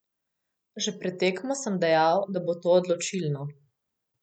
Že pred tekmo sem dejal, da bo to odločilno.